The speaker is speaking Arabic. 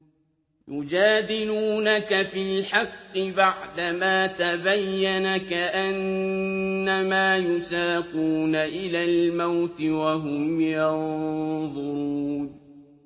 يُجَادِلُونَكَ فِي الْحَقِّ بَعْدَمَا تَبَيَّنَ كَأَنَّمَا يُسَاقُونَ إِلَى الْمَوْتِ وَهُمْ يَنظُرُونَ